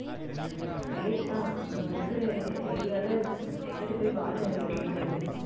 plate தான், நம்ம இருக்கிற area ல எங்கிட்டு போய் வாழை இலையை வாங்குறது